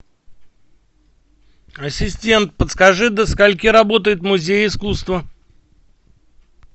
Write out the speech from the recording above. ассистент подскажи до скольки работает музей искусства